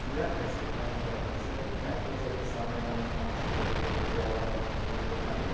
यह Axis Bank का परिसर है। बैंक परिसर के सामने हमे पांच छे दो पहिया वाहन खड़े नजर आ रहे हैं।